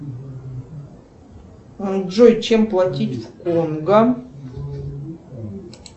джой чем платить в конго